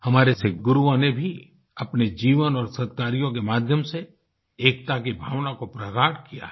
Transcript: हमारे सिख गुरुओं ने भी अपने जीवन और सद्कार्यों के माध्यम से एकता की भावना को प्रगाढ़ किया है